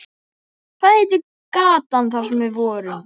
Hvað heitir gatan þar sem við vorum?